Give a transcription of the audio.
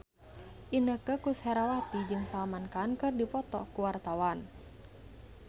Inneke Koesherawati jeung Salman Khan keur dipoto ku wartawan